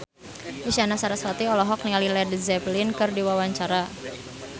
Isyana Sarasvati olohok ningali Led Zeppelin keur diwawancara